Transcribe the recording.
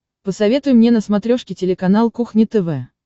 посоветуй мне на смотрешке телеканал кухня тв